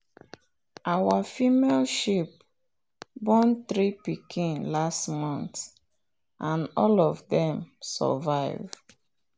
our female sheep born three pikin last month and all of dem survive.